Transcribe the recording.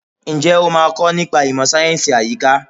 Ǹjẹ́ o máa kọ nípa ìmọ̀ sáyẹ̀nsì àyíká?